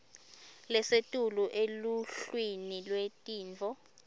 lesetulu eluhlwini lwetintfo